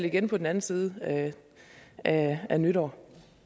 igen på den anden side af nytår